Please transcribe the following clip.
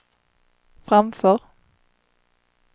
framför